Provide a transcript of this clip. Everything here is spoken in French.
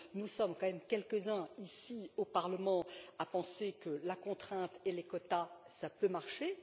Nous sommes quand même quelques uns, ici au Parlement, à penser que la contrainte et les quotas peuvent marcher.